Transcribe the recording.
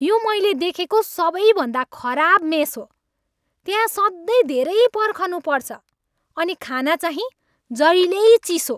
यो मैले देखेको सबैभन्दा खराब मेस हो। त्यहाँ सधैँ धेरै पर्खनुपर्छ अनि खानाचाहिँ जहिल्यै चिसो।